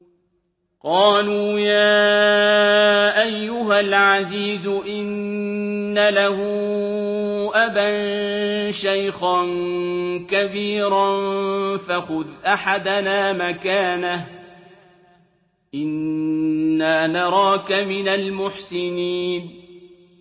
قَالُوا يَا أَيُّهَا الْعَزِيزُ إِنَّ لَهُ أَبًا شَيْخًا كَبِيرًا فَخُذْ أَحَدَنَا مَكَانَهُ ۖ إِنَّا نَرَاكَ مِنَ الْمُحْسِنِينَ